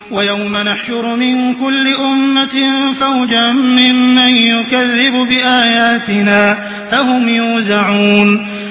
وَيَوْمَ نَحْشُرُ مِن كُلِّ أُمَّةٍ فَوْجًا مِّمَّن يُكَذِّبُ بِآيَاتِنَا فَهُمْ يُوزَعُونَ